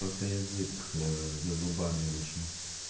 просто язык ээ за зубами вышел